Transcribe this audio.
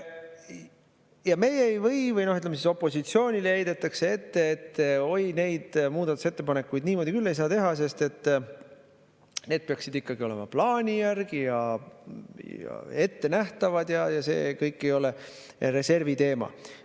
Ja opositsioonile heidetakse ette, et oi, neid muudatusettepanekuid niimoodi küll ei saa teha, sest need peaksid olema plaani järgi ja ettenähtavad, ja see ei ole reservi teema.